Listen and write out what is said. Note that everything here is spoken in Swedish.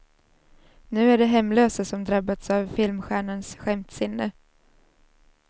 Nu är det hemlösa som drabbats av filmstjärnans skämtsinne.